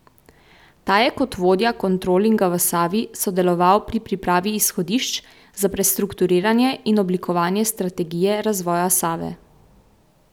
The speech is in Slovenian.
Ta je kot vodja kontrolinga v Savi sodeloval pri pripravi izhodišč za prestrukturiranje in oblikovanje strategije razvoja Save.